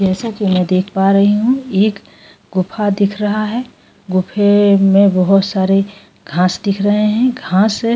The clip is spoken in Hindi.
जैसा की मै देख पा रहि हू एक गुफा दिख रहा है गुफे में अ बहुत सारी घास दिख रहि है घास --